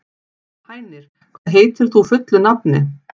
Hænir, hvað heitir þú fullu nafni?